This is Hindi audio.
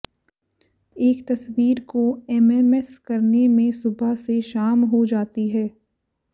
एक तस्वीर को एमएमएस करने में सुबह से शाम हो जाती है